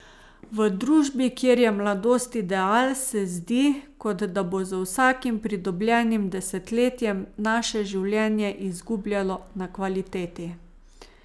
V družbi, kjer je mladost ideal, se zdi, kot da bo z vsakim pridobljenim desetletjem naše življenje izgubljalo na kvaliteti.